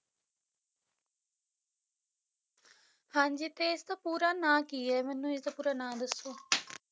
ਹਾਂਜੀ ਤੇ ਇਸਦਾ ਪੂਰਾ ਨਾਂ ਕੀ ਹੈ ਮੈਨੂੰ ਇਸਦਾ ਪੂਰਾ ਨਾਂ ਦੱਸੋ